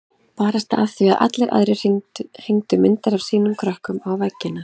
Barasta af því að allir aðrir hengdu myndir af sínum krökkum á veggina.